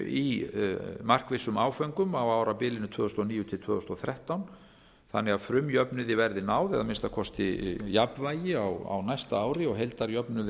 í markvissum áföngum á árabilinu tvö þúsund og níu til tvö þúsund og þrettán þannig að frumjöfnuði verði náð eða að minnsta kosti jafnvægi á næsta ári og heildarjöfnuði